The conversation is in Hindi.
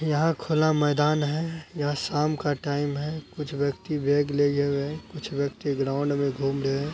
यहाँ खुला मैदान है। यह शाम का टाइम है। कुछ व्यक्ति बैग ले गए हुए हैं। कुछ व्यक्ति ग्राउंड में घूम रहे हैं।